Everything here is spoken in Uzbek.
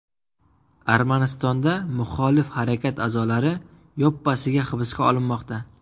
Armanistonda muxolif harakat a’zolari yoppasiga hibsga olinmoqda.